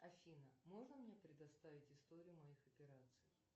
афина можно мне предоставить историю моих операций